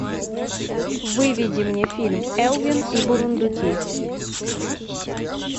выведи мне фильм элвин и бурундуки